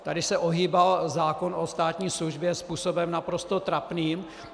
Tady se ohýbal zákon o státní službě způsobem naprosto trapným.